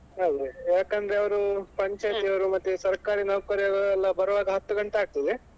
ಅದೇ ಯಾಕಂದ್ರೆ ಅವ್ರು ಪಂಚಾಯತಿ ಅವ್ರು ಮತ್ತೆ ಸರ್ಕಾರಿ ನೌಕರರು ಎಲ್ಲ ಬರುವಾಗ ಹತ್ತು ಗಂಟೆ ಆಗ್ತದೆ.